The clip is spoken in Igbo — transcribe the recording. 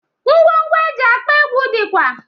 Ngwo ngwo eji akpọ egwu dịkwa